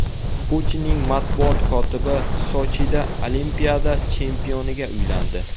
Putinning matbuot kotibi Sochida olimpiada chempioniga uylandi.